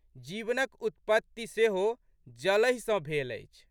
जीवनक उत्पत्ति सेहो जलहि सँ भेल अछि।